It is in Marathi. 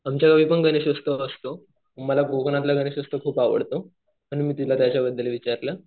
आमच्या गावी पण गणेश उत्सव असतो. मला कोकणातला गणेश उत्सव खूप आवडतो. म्हणून मी तुला त्याच्याबद्दल विचारलं.